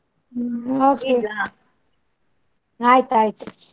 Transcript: ಹ್ಮ್ okay ಆಯ್ತಾಯ್ತು.